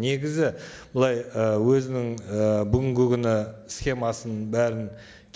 негізі былай ы өзінің і бүгінгі күні схемасын бәрін